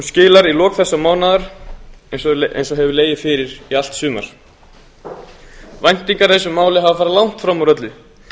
skilar í lok þessa mánaðar eins og hefur legið fyrir í allt sumar væntingar í þessu máli hafa farið langt fram úr öllu